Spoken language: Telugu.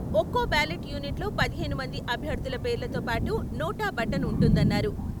ఒక్కో బ్యాలెట్ యూనిట్ లో పదిహేను మంది అభ్యర్థుల పేర్లతో పాటు నోటా బటన్ ఉంటుందన్నారు.